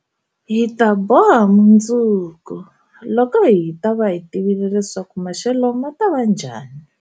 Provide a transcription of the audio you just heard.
Hi ta boha mundzuku, loko hi ta va hi tivile leswaku maxelo ma ta va njhani.